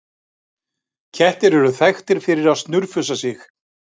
Kettir eru þekktir fyrir að snurfusa sig.